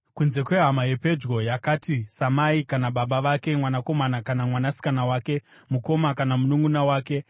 Kunze kwehama yepedyo yakaita samai kana baba vake, mwanakomana kana mwanasikana wake, mukoma kana mununʼuna wake,